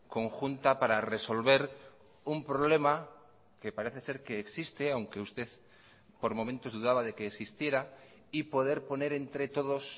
conjunta para resolver un problema que parece ser que existe aunque usted por momentos dudaba de que existiera y poder poner entre todos